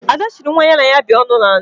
Ada chiri nwa ya na ya bi ọṅụ na ala